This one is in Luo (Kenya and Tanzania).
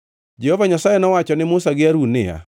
Jehova Nyasaye nowacho ni Musa gi Harun niya,